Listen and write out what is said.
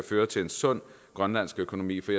føre til en sund grønlandsk økonomi for